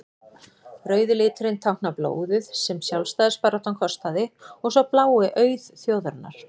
rauði liturinn táknar blóðið sem sjálfstæðisbaráttan kostaði og sá blái auð þjóðarinnar